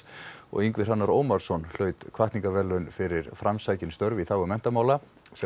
Ingvi Hrannar Ómarsson hlaut hvatningarverðlaun fyrir framsækin störf í þágu menntamála sem